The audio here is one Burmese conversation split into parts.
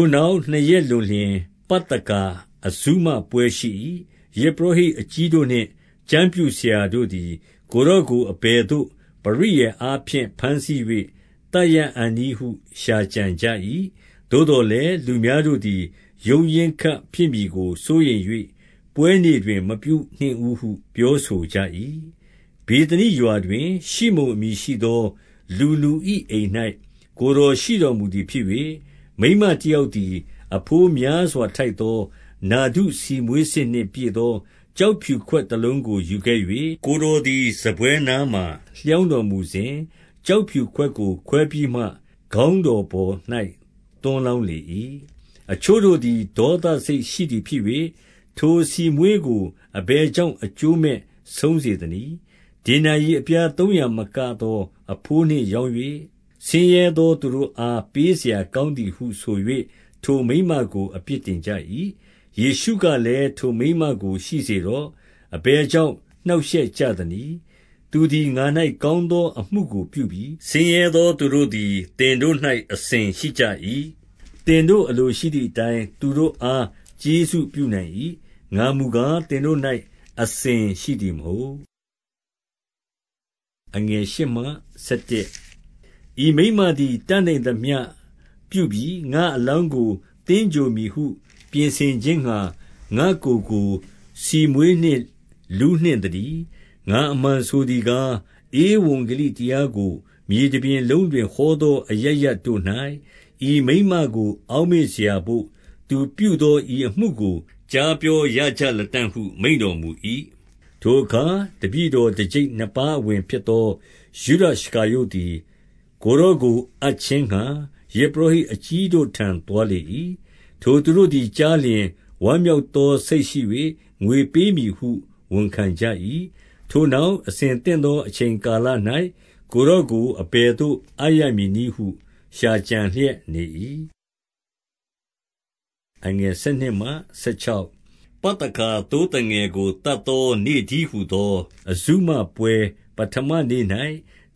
ိုနောက်နှစ်ရက်လွန်လျှင် ပသခါအဇုမပွဲရှိ၏။ ယဇ်ပုရောဟိတ်အကြီးတို့နှင့် ကျမ်းပြုဆရာတို့သည် ကိုယ်တော်ကို အဘယ်သို့ ပရိယာယ်အားဖြင့် ဘမ်းဆီး၍ သတ်ရအံ့နည်းဟု ရှာကြံကြ၏။ သို့သော်လည်း လူများတို့သည် ရုန်းရင်းခတ်ဖြစ်မည်ကို စိုးရိမ်၍ ပွဲနေ့တွင် မပြုနှင့်ဦးဟုပြောဆိုကြ၏။ ဗေသနိရွာတွင် ရှိမုန်အမည်ရှိသော လူနူ၏အိမ်၌ ကိုယ်တော်ရှိတော်မူသည်ဖြစ်၍၊ မိန်းမတယောက် သည် အဘိုးများစွာထိုက်သော နာဒုဆီမွှေးစစ်နှင့်ပြည့်သော ကျောက်ဖြူခွက်တလုံးကို ယူခဲ့၍ ကိုယ်တော်သည် စားပွဲနားမှာ လျောင်းတော်မစဉ်၊ ကျောက်ဖြူခွင်ကိုခွဲပြီးမှ ခေါင်းတော်ပေါ်၌ သွန်းလောင်းလေ၏။ အချို့တို့သည် ဒေါသစိတ်ရှိသည်ဖြစ်၍၊ ထိုဆီမွှေးကို အဘယ်ကြောင့်အကျိုးမဲ့ဆုံးစေသနည်း။ ဒေနာရိအပြားသုံးရာမကသော အဘိုးနှင့်ရောင်း၍ ဆင်းရဲသောသူတို့အား ပေးစရာကောင်းသည်ဟု ဆို၍ ထိုမိန်းမကိုအပြစ်ထင်ကြ၏။ ယေရှုကလည်းထိုမိန်းမကိုရှိစေတော့။ အဘယ်ကြောင့်နှောင့်ရှက်ကြသနည်း။ သူသည် ငါ၌ ကောင်းသောအမှုကို ပြုပြီ။ ဆင်းရဲသောသူတို့သည် သင်တို့၌အစဉ်ရှိကြ၏ သင်တို့အလိုရှိသည်အတိုင်း သူတို့အားကျေးဇူးပြုနိုင် ၏။ ငါမူကား သင်တို့၌အစဉ်ရှိသည်မဟုတ်။ ဤမိန်းမသည် တတ်နိုင်သမျှပြုပြီ။ ငါ့အလောင်းကို သင်္ဂြိုဟ်မည်ဟု ပြင်ဆင်ခြင်းငှါ၊ ငါ့ကိုယ်ကို ဆီမွှေး နှင့် လူးနှင့်သတည်း။ ငါအမှန်ဆိုသည်ကား၊ ဧဝံဂေလိတရားကို မြေတပြင်လုံးတွင်ဟောသောအရပ်ရပ်တို့၌ ဤမိန်းမကို အောက်မေ့စရာဘို့ သူပြုသောဤအမှုကို ကြားပြောရကြလတံ့ဟုမိန့်တော်မူ၏။ ထိုအခါ တပည့်တော်တကျိပ်နှစ်ပါးအဝင်ဖြစ်သော ယုဒရှကာရုတ်သည် ကိုယ်တော်ကိုအပ်ခြင်းငှါ ယဇ်ပုရောဟိတ်အကြီးတို့ထံသို့ သွားလေ၏။ ထိုသူတို့သည် ကြားလျင်ဝမ်းမြောက်သောစိတ်ရှိ၍ ငွေပေးမည်ဟု ဝန်ခံကြ၏။ ထိုနောက် အဆင်သင့် သောအချိန်ကာလ၌ ကိုယ်တော်ကို အဘယ်သို့အပ်ရမည်နည်းဟု ရှာကြံလျက်နေ၏။ ပသခါသိုးငယ်ကို သတ်သောနေ့တည်းဟူသော အဇုမပွဲပဌမနေ့၌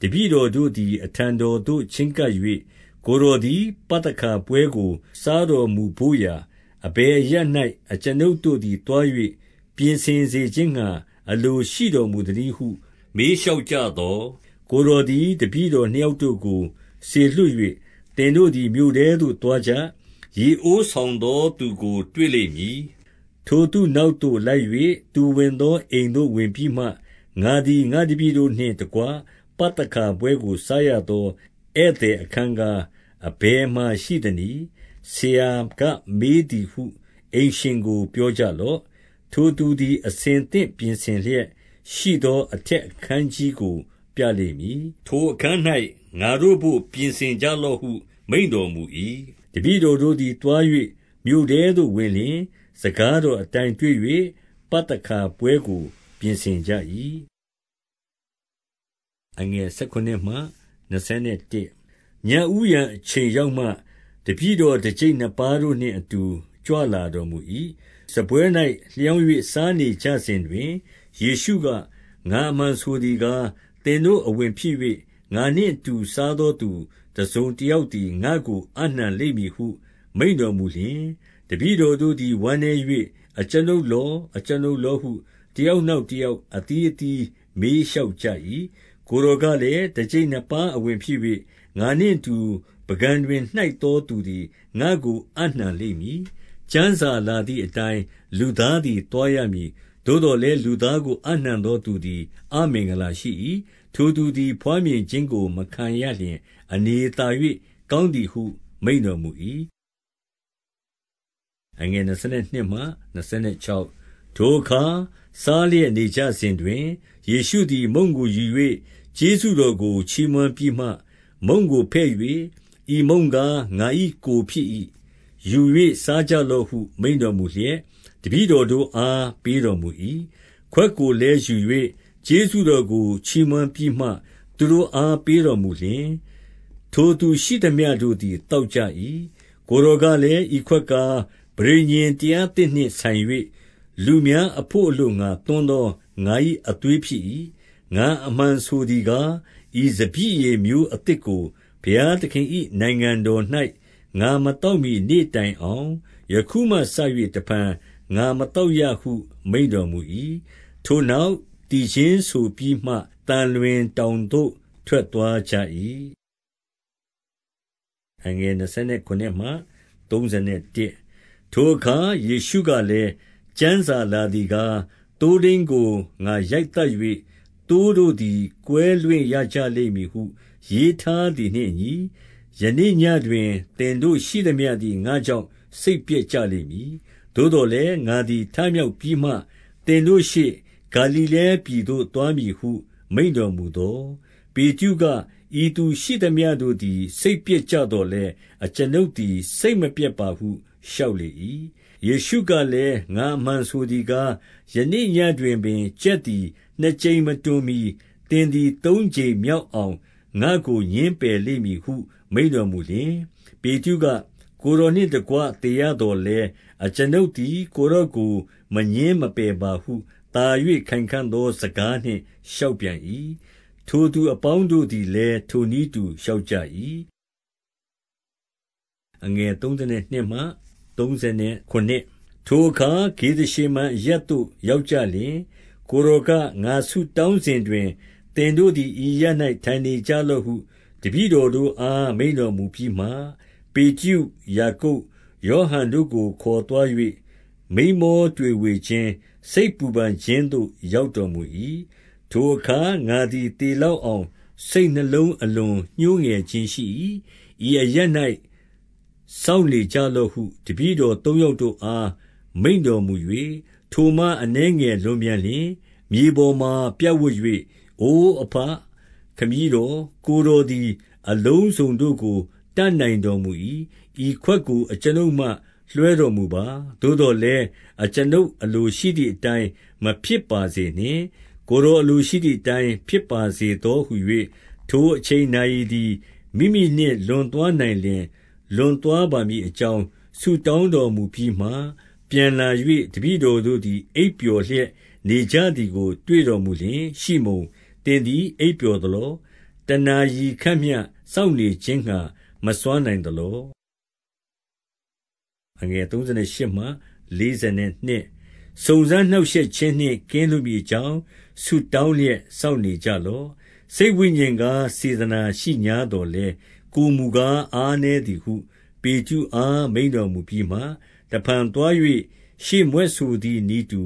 တပည့်တော်တို့သည် အထံတော် သို့ ချဉ်းကပ်၍၊ ကိုယ်တော်သည် ပသခါပွဲကို စားတော်မူဘို့ရာ အဘယ်အရပ်၌ အကျွန်ုပ်တို့သည် သွား၍ ပြင်ဆင်စေခြင်းငှါ အလိုရှိတော်မူသနည်းဟု မေးလျှောက်ကြသော်၊ ကိုယ်တော်သည် တပည့်တော်နှစ်ယောက်တို့ကိုစေလွှတ်၍၊ သင်တို့သည် မြို့ထဲသို့သွားကြ။ ရေအိုး ဆောင်သောသူကို တွေ့လိမ့်မည်။ ထိုသူနောက်သို့ လိုက်၍၊ သူဝင်သော အိမ်သို့ဝင်ပြီးမှ၊ ငါသည် ငါ့တပည် တို့နှင့်တကွ ပသခါပွဲကို စားရသောဧည့်သည် အခန်း ကား၊ အဘယ်မှရှိသနည်း။ ဆရာက မေးသည်ဟု အိမ်ရှင်ကို ပြောကြလော့။ ထိုသူသည် အသင့်ပြင်ဆင်လျက်ရှိသော အထက်အခန်းကြီးကိုပြလိမ့်မည်။ ထိုအခန်း၌ ငါတို့ဘို့ ပြင်ဆင်ကြလော့ဟု မိန့်တော်မူ၏။ တပည့်တော်တို့သည်သွား၍ မြို့ထဲသို့ဝင်လျှင်၊ စကားတော်အတိုင်းတွေ့၍ ပသခါပွဲကို ပြင်ဆင်ကြ၏။ ညဦးယံအချိန်ရောက်မှ တပည့်တော်တကျိပ် နှစ်ပါးတို့နှင့်အတူ ကြွလာတော်မူ၏။ စားပွဲ၌လျောင်း၍ စားနေကြစဉ်တွင်၊ ယေရှုက၊ ငါအမှန်ဆိုသည်ကား၊ သင်တို့အဝင်ဖြစ်၍ ငါနှင့်အတူ စားသောသူ တစုံတယောက်သည် ငါ့ကို အပ်နှံလိမ့်မည်ဟု မိန့်တော်မူလျင်၊ တပည့်တော်တို့သည် ဝမ်းနည်း၍၊ အကျွန်ုပ်လော၊ အကျွန်ုပ်လောဟု တယောက်နောက်တယောက် အသီးအသီးမေးလျှောက်ကြ၏။ ကိုယ်တော်ကလည်း၊ တကျိပ်နှစ်ပါးအဝင်ဖြစ်၍ ငါနှင့်အတူ ပုန်ကန်တွင် နှိုက်သောသူသည် ငါ့ကို အပ်နှံလိမ့်မည်။ ကျမ်းစာလာသည်အတိုင်း လူသားသည် သွားရမည်။ သို့သော်လည်း လူသားကို အပ်နှံသောသူသည် အမင်္ဂလာရှိ၏။ ထိုသူသည် ဘွားမြင်ခြင်းကို မခံရလျှင်အနေသာ၍ ကောင်းသည်ဟု မိန့်တော်မူ၏။ ထိုအခါစားလျက်နေကြစဉ်တွင် ယေရှုသည်မုန့်ကိုယူ၍၊ ကျေးဇူးတော်ကိုချီးမွမ်းပြီးမှ မုန့်ကိုဖဲ့၍၊ ဤမုန့် ကားငါ၏ကိုယ်ဖြစ်၏။ ယူ၍စားကြလော့ဟု မိန့်တော်မူလျက် တပည့်တော်တို့အား ပေးတော်မူ၏။ ခွက်ကိုလည်းယူ၍ ကျေးဇူးတော်ကိုချီးမွမ်းပြီးမှ သူတို့အား ပေးတော်မူလျှင်၊ ထိုသူရှိသမျှတို့သည် သောက်ကြ၏။ ကိုယ်တော်ကလည်း၊ ဤခွက်ကား၊ ပဋိညာဉ်တရားသစ်နှင့်ဆိုင်၍၊ လူများအဘို့အလိုငှါ သွန်းသော ငါ၏ အသွေးဖြစ်၏။ ငါအမှန်ဆိုသည်ကား၊ ဤစပျစ်ရည်မျိုးအသစ်ကို ဘုရားသခင်၏နိုင်ငံတော်၌ ငါမသောက်မှီ နေ့တိုင် အောင် ယခုမှစ၍ တဖန်ငါမသောက်ရဟု မိန့်တော်မူ၏။ ထိုနောက်သီချင်းဆိုပြီးမှ သံလွင်တောင်သို့ ထွက်သွားကြ၏။ ထိုအခါ ယေရှုကလည်း၊ ကျမ်းစာလာသည်ကား၊ သိုးထိန်းကို ငါရိုက်သတ်၍ သိုးတို့သည် ကွဲလွင့်ရကြ လိမ့်မည်ဟု ရေးထားသည်နှင့်အညီ၊ ယနေ့ညဉ့်တွင် သင်တို့ ရှိသမျှသည် ငါ့ကြောင့် စိတ်ပျက်ကြလိမ့်မည်။ သို့သော်လည်း ငါသည်ထမြောက်ပြီးမှ သင်တို့ရှေ့၊ ဂါလိလဲပြည်သို့သွားမည်ဟု မိန့်တော်မူသော်၊ ပေတရုက၊ ဤသူရှိသမျှတို့သည် စိတ်ပျက်ကြသော်လည်း အကျွန်ုပ်သည် စိတ်မပျက်ပါဟု လျှောက် လေ၏။ ယေရှုကလည်း၊ ငါအမှန်ဆိုသည်ကား၊ ယနေ့ညဉ့်တွင်ပင် ကြက်သည်နှစ်ကြိမ်မတွန်မှီ သင်သည် သုံး ကြိမ်မြောက်အောင် ငါ့ကိုငြင်းပယ်လိမ့်မည်ဟု မိန့်တော်မူလျှင်၊ ပေတရုက၊ ကိုယ်တော်နှင့်တကွ သေရသော်လည်း အကျွန်ုပ်သည် ကိုယ်တော်ကိုမငြင်းမပယ်ပါဟု သာ၍ ခိုင်ခံ့သောစကားနှင့် လျှောက်ပြန်၏။ ထိုသူအပေါင်းတို့သည်လည်း ထိုနည်းတူလျှောက်ကြ၏။ ထိုအခါ ဂေသရှေမန်အရပ်သို့ရောက်ကြလျှင် ကိုယ်တော်က၊ ငါဆုတောင်းစဉ်တွင် သင်တို့သည် ဤ အရပ်၌ ထိုင်နေကြလော့ဟု တပည့်တော်တို့အား မိန့်တော်မူပြီးမှ၊ ပေတရု၊ ယာကုပ်၊ ယောဟန်တို့ကိုခေါ်သွား၍ မိန်းမောတွေဝေခြင်း၊ စိတ်ပူပန်ခြင်းသို့ ရောက်တော် မူ၏။ ထိုအခါ ငါသည်သေလောက်အောင်စိတ်နှလုံး အလွန်ညှိုးငယ်ခြင်းရှိ၏။ ဤအရပ်၌ စောင့်နေကြလော့ ဟု တပည့်တော်သုံးယောက်တို့အား မိန့်တော်မူ၍၊ ထိုမှ အနည်းငယ်လွန်ပြန်လျှင်၊ မြေပေါ်မှာ ပြပ်ဝပ်၍ အိုအဘခမည်းတော်၊ ကိုယ်တော်သည် အလုံးစုံတို့ကိုတတ်နိုင်တော်မူ၏။ ဤခွက်ကို အကျွန်ုပ်မှလွှဲတော်မူပါ။ သို့သော်လည်း အကျွန်ုပ်အလိုရှိသည်အတိုင်း မဖြစ်ပါစေနှင့်။ ကိုယ်တော်အလိုရှိသည်အတိုင်း ဖြစ်ပါစေသောဟူ၍ ထိုအချိန် နာရီ သည် မိမိနှင့်လွန်သွားနိုင်လျှင် လွန်သွားပါမည်အကြောင်း ဆုတောင်းတော်မူပြီးမှ၊ ပြန်လာ၍ တပည့်တော်တို့သည် အိပ်ပျော်လျက် နေကြသည်ကိုတွေ့တော်မူလျှင်၊ ရှိမုန်၊ သင်သည် အိပ်ပျော်သလော။ တနာရီခန့်မျှစောင့်နေခြင်းငှါ မစွမ်းနိုင်သလော။ စုံစမ်းနှောင့်ရှက်ခြင်းနှင့် ကင်းလွတ်မည်အကြောင်းဆုတောင်းလျက် စောင့်နေကြလော့။ စိတ် ဝိညာဉ် ကား စေတနာရှိငြားသော်လည်း၊ ကိုယ်မူကား အားနည်းသည်ဟု ပေတရုအားမိန့်တော်မူပြီးမှ၊ တဖန်သွား၍ ရှေ့မြွက်ဆိုသည်နည်းတူ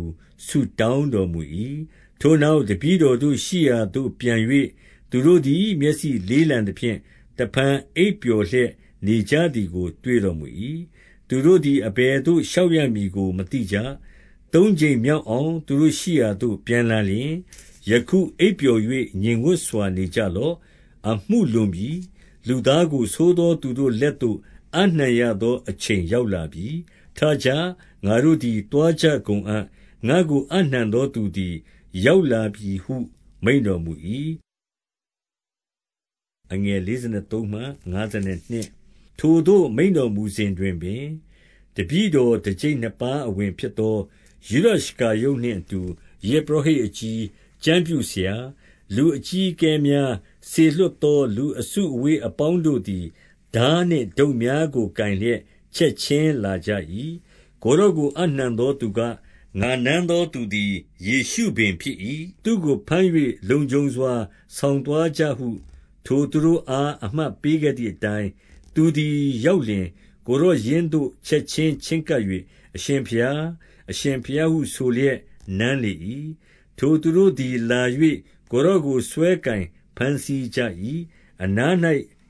ဆုတောင်းတော်မူ၏။ ထိုနောက် တပည့်တော်တို့ရှိရာသို့ပြန်၍၊ သူတို့သည် မျက်စိလေးလံသဖြင့် တဖန်အိပ်ပျော်လျက်နေကြ သည်ကို တွေ့တော်မူ၏။ သူတို့သည် အဘယ်သို့ လျှောက်ရမည်ကို မသိကြ။ သုံးကြိမ်မြောက်အောင် သူတို့ရှိရာသို့ ပြန်လာလျှင်၊ ယခုအိပ်ပျော်၍ငြိမ်ဝပ်စွာနေကြလော့။ အမှုလွန် ပြီ။ လူသားကို ဆိုးသောသူတို့လက်သို့ အပ်နှံရသောအချိန် ရောက်လာပြီ။ ထကြ။ ငါတို့သည်သွားကြကုန်အံ့။ ငါ့ကို အပ်နှံသောသူသည် ရောက်လာပြီဟု မိန့်တော်မူ၏။ ထိုသို့ မိန့်တော်မူစဉ်တွင်ပင် တပည့်တော် တကျိပ်နှစ်ပါးအဝင်ဖြစ်သော ယုဒရှကာရုတ်နှင့်အတူ ယဇ် ပုရောဟိတ်အကြီး၊ ကျမ်းပြုဆရာ။ လူအပေါင်းတို့သည် ထားနှင့်ဒုတ်များကိုကိုင်လျက် ချက်ခြင်းလာကြ၏။ ကိုယ်တော်ကိုအပ်နှံသောသူက၊ ငါနမ်းသောသူသည် ယေရှုပင်ဖြစ်၏။ သူ့ကိုဘမ်း၍ လုံခြုံစွာ ဆောင် သွားကြဟု ထိုသူတို့အား အမှတ်ပေးခဲ့သည်အတိုင်း၊ သူသည် ရောက်လျှင် ကိုယ်တော်ရင်းသို့ချက်ခြင်း ချဉ်းကပ်၍ အရှင်ဘုရား၊ အရှင်ဘုရားဟုဆိုလျက် နမ်းလေ၏။ ထိုသူတို့သည် လာ၍ ကိုယ်တော်ကိုဆွဲကိုင် ဘမ်းဆီးကြ၏။ အနား၌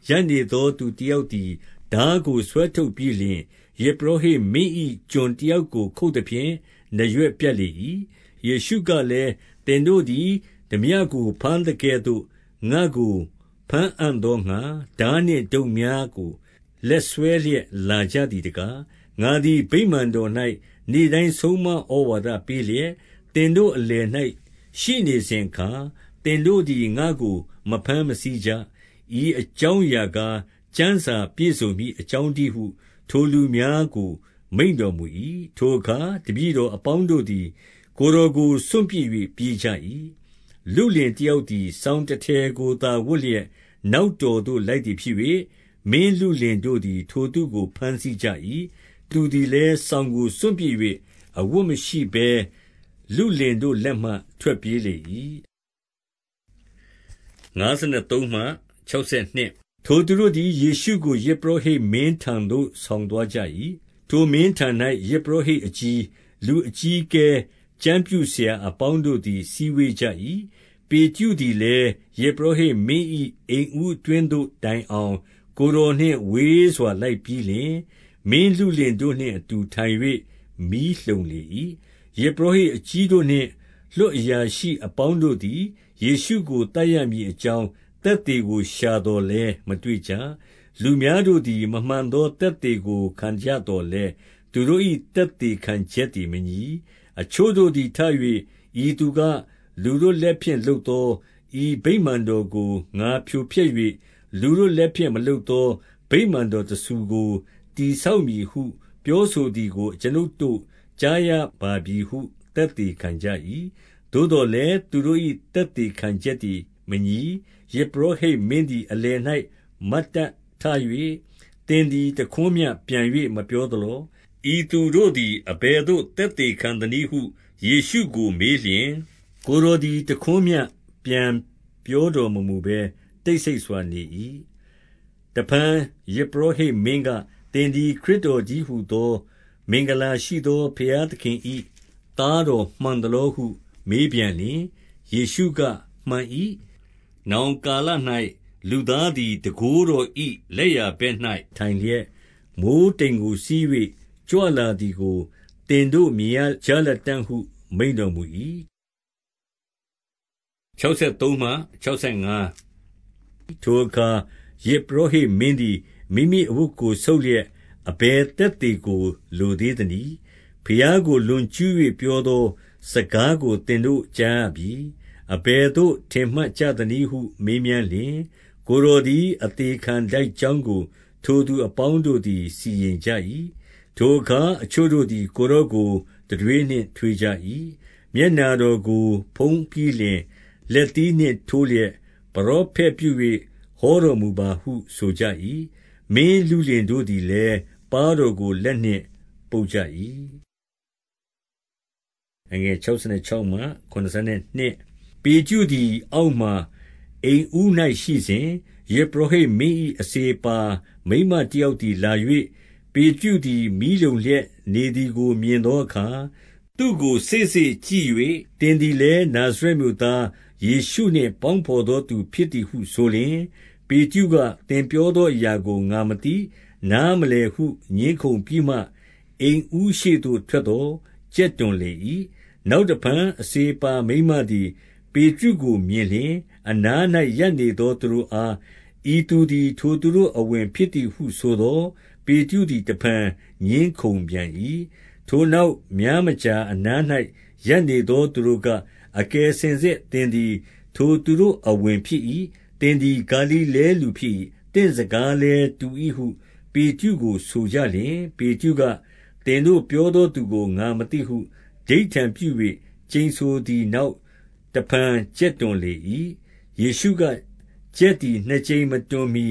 ရပ်နေသော သူတယောက်သည် ထားကို ဆွဲထုတ်ပြီးလျှင်၊ ယဇ်ပုရောဟိတ်မင်း၏ ကျွန်တ ယောက်ကို ခုတ်သဖြင့် နားရွက်ပြတ်လေ၏။ ယေရှုကလည်း သင်တို့သည် ထားပြကို ဘမ်းသကဲ့သို့ ငါ့ကိုဘမ်းအံ့သောငှါ ထားနှင့်ဒုတ်များကို လက် စွဲလျက်လာကြသည်တကား၊ ငါသည် ဗိမာန်တော်၌ နေ့တိုင်းဆုံးမဩဝါဒပေးလျက်၊ သင်တို့အလယ်၌ ရှိနေစဉ်အခါ သင်တို့သည် ငါ့ကို မဘမ်းမဆီးကြ။ ဤအကြောင်းအရာကား၊ ကျမ်းစာပြည်စုံမည်အကြောင်းတည်းဟု ထိုလူများကို မိန့်တော်မူ၏။ ထိုအခါ တပည့်တော်အပေါင်းတို့သည် ကိုယ်တော်ကိုစွန့်ပစ်၍ ပြေးကြ၏။ လုလင်တယောက်သည် စောင်တထည်ကိုသာ ဝတ်လျက် နောက်တော်သို့လိုက်သည်ဖြစ်၍၊ မင်းလုလင်တို့သည် ထိုလုလင်ကို ဘမ်းဆီး ကြ၏။ သူသည်လည်း စောင်ကိုစွန့်ပစ်၍ အဝတ်မရှိဘဲ လုလင်တို့လက်မှ ထွက်ပြေးလေ၏။ ထိုသူတို့သည် ယေရှုကို ယဇ်ပုရောဟိတ်မင်းထံသို့ ဆောင်သွားကြ၏။ ထိုမင်းထံ၌ ယဇ်ပုရောဟိတ် အကြီး၊ လူအကြီးအကဲ၊ ကျမ်းပြုဆရာအပေါင်းတို့သည် စည်းဝေးကြ၏။ ပေတရုသည်လည်း ယဇ်ပုရောဟိတ်မင်း၏ အိမ်ဦးအတွင်းသို့တိုင်အောင် ကိုယ်တော်နှင့်ဝေးစွာ လိုက် ပြီးလျှင်၊ မင်းလုလင်တို့နှင့်တအူထိုင်၍မီးလှုံလေ၏။ ယဇ်ပုရောဟိတ်အကြီးတို့နှင့် လွှတ်အရာရှိအပေါင်းတို့သည် ယေရှုကို သတ်ရမည်အကြောင်း သက် သေကို ရှာသော်လည်းမတွေ့ကြ။ လူများတို့သည် မမှန်သောသက်သေကို ခံကြသော်လည်း သူတို့၏ သက်သေခံချက်သည်မညီ။ အချို့တို့သည်ထ၍၊ ဤသူက၊ လူတို့လက်ဖြင့် လုပ်သော၊ ဤဗိမာန်တော်ကို ငါဖြိုဖျက်၍ လူတို့လက်ဖြင့် မလုပ်သောဗိမာန်တော်တဆူကို တည်ဆောက်မည်ဟု ပြောဆိုသည်ကို အကျွန်ုပ်တို့ကြားရပါပြီဟု သက်သေခံကြ၏။ သို့သော်လည်း သူတို့၏ သက်သေခံချက်သည် မညီ။ ယဇ်ပုရောဟိတ်မင်းသည် အလယ်၌ မတ်တပ်ထ၍၊ သင်သည် တခွန်းမျှပြန်၍မပြောသလော။ ဤသူတို့သည် အဘယ်သို့သက်သေခံသနည်းဟု ယေရှုကိုမေးလျှင်၊ ကိုယ်တော်သည် တခွန်းမျှပြန်ပြောတော်မမူဘဲ တိတ်ဆိတ်စွာနေ၏။ တဖန်ယဇ်ပုရောဟိတ်မင်းက၊ သင်သည် ခရစ်တော်တည်းဟူသော မင်္ဂလာရှိသော ဘုရားသခင်၏သားတော် မှန်သလောဟု မြေးပြန်လျှင်၊ ယေရှုက၊ မှန်၏။ နောင်ကာလ၌ လူသားသည် တန်ခိုးတော်၏လက်ျာဘက်၌ထိုင်လျက်၊ မိုဃ်းတိမ်ကို စီး၍ ကြွလာသည်ကို သင်တို့မြင်ရကြလတံ့ဟု မိန့်တော်မူ၏။ ထိုအခါ ယဇ်ပုရောဟိတ်မင်းသည် မိမိအဝတ်ကို ဆုတ်လျက်အဘယ်သက်သေကို လိုသေးသနည်း။ ဘုရားကို လွန်ကျူး၍ပြောသောစကားကို သင်တို့ကြားရပြီ။ အဘယ်သို့ထင်မှတ်ကြသနည်းဟု မေးမြန်း လျှင်၊ ကိုယ်တော်သည် အသေခံထိုက်ကြောင်းကို ထိုသူအပေါင်းတို့သည် စီရင်ကြ၏။ ထိုအခါ အချို့တို့သည် ကိုယ်တော်ကို တံတွေးနှင့်ထွေးကြ၏။ မျက်နှာတော်ကိုဖုံးပြီးလျှင် လက်သီးနှင့် ထိုးလျက်၊ ပရောဖက်ပြု၍ ဟောတော်မူပါဟုဆိုကြ၏။ မင်းလုလင်တို့သည်လည်း ပါးတော်ကို လက်နှင့်ပုတ်ကြ ၏။ ပေတရုသည်အောက်မှာ အိမ်ဦး၌ရှိစဉ်၊ ယဇ်ပုရောဟိတ်မင်း၏ အစေအပါးမိန်းမတယောက်သည် လာ၍၊ ပေတရုသည် မီးလှုံလျက်နေသည်ကို မြင်သောအခါ သူ့ကိုစေ့စေ့ကြည့်၍၊ သင်သည်လည်း နာဇရက် မြို့သားယေရှုနှင့် ပေါင်းဘော်သောသူဖြစ်သည်ဟု ဆိုလျှင်၊ ပေတရုက၊ သင်ပြောသောအရာကိုငါမသိ၊ နားမလည်ဟု ငြင်းခုံပြီးမှ အိမ်ဦးရှေ့သို့ထွက်သော် ကြက်တွန်လေ၏။ နောက်တဖန် အစေအပါမိန်းမသည် ပေတရုကိုမြင်လျှင်၊ အနား၌ ရပ်နေသောသူတို့အား၊ ဤသူသည် ထိုသူတို့ အဝင်ဖြစ်သည်ဟုဆိုသော်။ ပေတရုသည် တဖန်ငြင်းခုံပြန်၏၊ ထိုနောက် များမကြာအနား၌ ရပ်နေသောသူတို့က၊ အကယ်စင်စစ် သင်သည် ထိုသူတို့အဝင်ဖြစ်၏။ သင်သည် ဂါလိလဲလူဖြစ်၏။ သင်စကားလည်းတူ၏ဟု ပေတရုကိုဆိုကြလျှင်၊ ပေတရုက၊ သင်တို့ပြောသောသူကို ငါမသိဟု ဓိဋ္ဌာန်ပြု၍ကျိန်ဆိုသည်နောက်၊ တဖန်ကြက်တွန်လေ၏။ ယေရှုက၊ ကြက်သည် နှစ်ကြိမ်မတွန်မှီ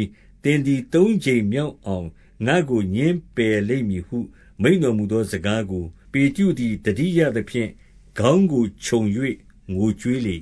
သင်သည်သုံးကြိမ်မြောက်အောင် ငါ့ကို ငြင်းပယ်လိမ့်မည်ဟု မိန့်တော်မူသောစကားကို၊ ပေတရုသည် သတိရသဖြင့် ခေါင်းကိုခြုံ၍ငိုကြွေးလေ